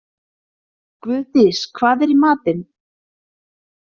Guðdís, hvað er í matinn?